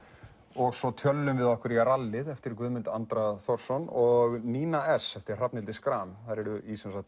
og svo tjöllum við okkur í rallið eftir Guðmund Andra Thorsson og Nína s eftir Hrafnhildi Schram þær eru í